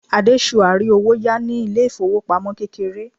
adesua ri owo ya ni ilé ifowopamọ kékeré